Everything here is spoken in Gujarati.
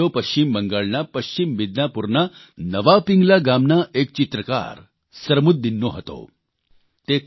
આ વિડિયો પશ્ચિમ બંગાળના પશ્ચિમ મીદનાપુરના નયા પિંગલા ગામના એક ચિત્રકાર સરમુદ્દીનનો હતો